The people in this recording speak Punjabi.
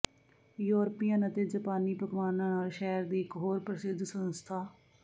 ਯੂਰਪੀਅਨ ਅਤੇ ਜਾਪਾਨੀ ਪਕਵਾਨਾਂ ਨਾਲ ਸ਼ਹਿਰ ਦੀ ਇਕ ਹੋਰ ਪ੍ਰਸਿੱਧ ਸੰਸਥਾ